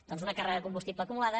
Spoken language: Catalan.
doncs una càrrega de combustible acumulada